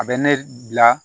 A bɛ ne bila